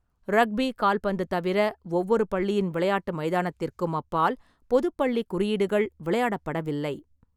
Rugby கால்பந்து தவிர, ஒவ்வொரு பள்ளியின் விளையாட்டு மைதானத்திற்கும் அப்பால் பொதுப் பள்ளி குறியீடுகள் விளையாடப்படவில்லை.